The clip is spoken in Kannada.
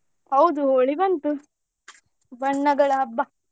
ಹೌದು ಹೋಳಿ ಬಂತು ಬಣ್ಣಗಳ ಹಬ್ಬ.